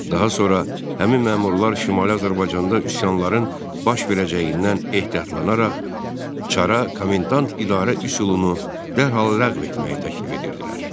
Daha sonra həmin məmurlar Şimali Azərbaycanda üsyanların baş verəcəyindən ehtiyatlanaraq, çara komendant idarə üsulunu dərhal ləğv etməyi təklif edirdilər.